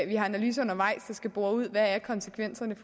vi har analyser undervejs der skal bore ud hvad konsekvenserne